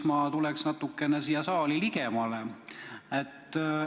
Ma tulen natukene sellele saalile ligemale.